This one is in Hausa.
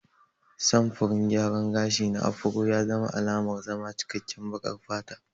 Samfurin gyaran gashi na Afro ya zama alamar zama cikkaken baƙar fata.